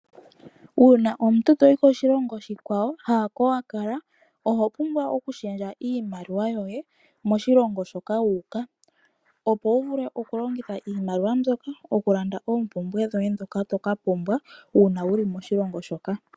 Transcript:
Uuna omuntu to yi koshilongo oshikwawo haa ko wa kala, owa pumbwa oku shendja iimaliwa yoye moshilongo shoka wu uka opo wu vule oku longitha oshimaliwa shoka oku landa oompumbwe dhoye ndhoka to ka pumbwa uuna wu li moshilongo shoka.